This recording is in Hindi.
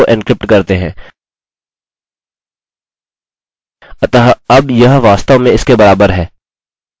हमें यह तब चुनने की आवश्यकता होती है जब हम अपने पासवर्ड को एन्क्रिप्ट करते हैं